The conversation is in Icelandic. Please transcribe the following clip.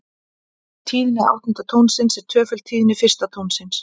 Tíðni áttunda tónsins er tvöföld tíðni fyrsta tónsins.